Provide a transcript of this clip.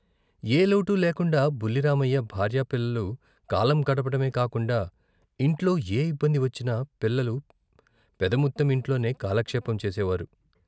ఏ లోటూ లేకుండా బుల్లిరామయ్య భార్యా పిల్లలు కాలం గడపటమే కాకుండా ఇంట్లో ఏ ఇబ్బంది వచ్చినా పిల్లలు పెదముత్తెం ఇంట్లోనే కాలక్షేపం చేసేవారు.